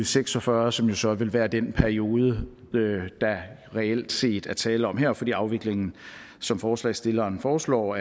seks og fyrre som jo så vil være den periode der reelt set er tale om her fordi afviklingen som forslagsstillerne foreslår